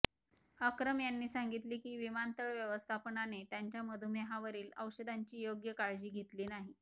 अक्रम यांनी सांगितले की विमानतळ व्यवस्थापनाने त्यांच्या मधुमेहावरील औषधांची योग्य काळजी घेतली नाही